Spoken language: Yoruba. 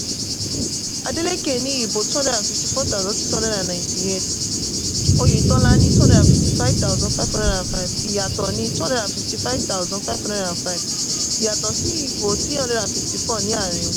adeleke ní ìbò two hundred and fifty-four thousand, six hundred and ninety-eight oyètọ́lá ní two hundred and fifty-five thousand, five hundred and five ìyàtọ̀ ni two hundred and fifty-five thousand, five hundred and five ìyàtọ̀ sí ìbò three hundred and fifty-four ní àárín wọn.